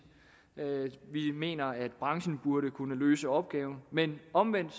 vi mener at branchen burde kunne løse opgaven men omvendt